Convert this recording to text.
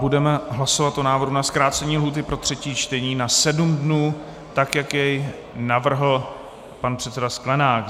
Budeme hlasovat o návrhu o zkrácení lhůty pro třetí čtení na sedm dnů tak, jak jej navrhl pan předseda Sklenák.